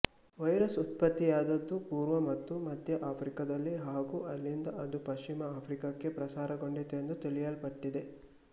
virus ಉತ್ಪತ್ತಿಯಾದದ್ದು ಪೂರ್ವ ಮತ್ತು ಮಧ್ಯ ಆಫ್ರಿಕಾದಲ್ಲಿ ಹಾಗೂ ಅಲ್ಲಿಂದ ಅದು ಪಶ್ಚಿಮ ಆಫ್ರಿಕಾಕ್ಕೆ ಪ್ರಸಾರಗೊಂಡಿತೆಂದು ತಿಳಿಯಲ್ಪಟ್ಟಿದೆ